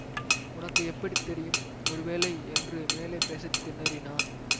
உனக்கு எப்படி தெரியும் ஒருவேளை என்று மேலே பேச திணறினான்